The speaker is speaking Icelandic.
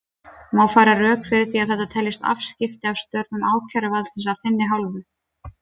Má færa rök fyrir því að þetta teljist afskipti af störfum ákæruvaldsins af þinni hálfu?